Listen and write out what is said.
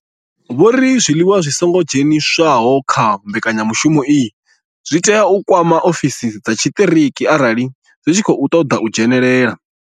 Vho ri zwiliwa zwi songo dzheniswaho kha mbekanya mushumo iyi zwi tea u kwama ofisi dza tshiṱiriki arali zwi tshi khou ṱoḓa u dzhenela.